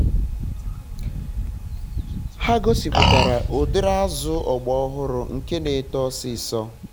ha gosiputara udiri azụ ogba ọhụrụ nke na-eto ọsịsọ